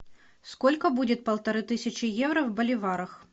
сколько будет полторы тысячи евро в боливарах